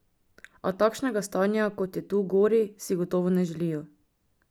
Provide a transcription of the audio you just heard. A takšnega stanja, kot je tu gori, si gotovo ne želijo.